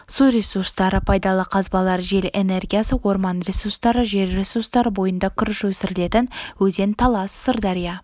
су ресурстары пайдалы қазбалар жел энергиясы орман ресурстары жер ресурстары бойында күріш өсірілетін өзен талас сырдария